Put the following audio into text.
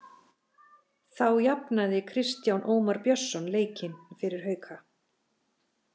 Þá jafnaði Kristján Ómar Björnsson leikinn fyrir Hauka.